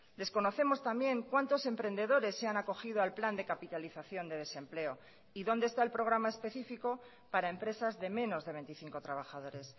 desconocemos también cuantos emprendedores se han acogido al plan de capitalización de desempleo y dónde está el programa específico para empresas de menos de veinticinco trabajadores